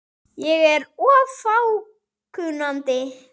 Ég er of fákunnandi.